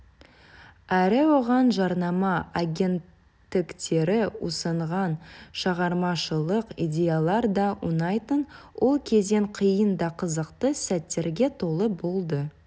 әрі оған жарнама агенттіктері ұсынған шығармашылық идеялар да ұнайтын ол кезең қиын да қызықты сәттерге толы болды